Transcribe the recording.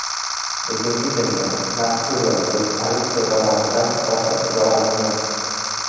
Bugungi kunda mazkur yozuv politsiya tomonidan muhofazaga olingan.